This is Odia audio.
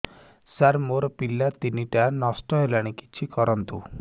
ସାର ମୋର ପିଲା ତିନିଟା ନଷ୍ଟ ହେଲାଣି କିଛି କରନ୍ତୁ